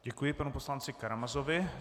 Děkuji panu poslanci Karamazovi.